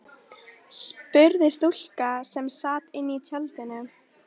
spurði stúlka sem sat inní tjaldinu.